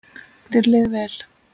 Þér leið vel.